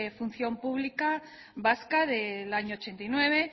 función pública vasca del año ochenta y nueve